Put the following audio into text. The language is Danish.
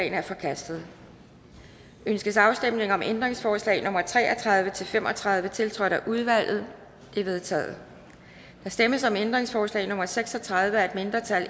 er forkastet ønskes afstemning om ændringsforslag nummer tre og tredive til fem og tredive tiltrådt af udvalget de er vedtaget der stemmes om ændringsforslag nummer seks og tredive af et mindretal